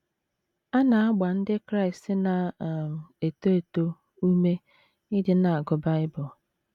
A na - agba Ndị Kraịst na um - eto eto ume ịdị na - agụ Bible.